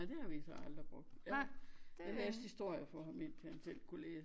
Nej det har vi så aldrig brugt jeg læste historier for ham indtil han selv kunne læse